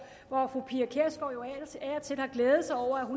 hvor fru pia kjærsgaard jo ellers af og til har glædet sig over at hun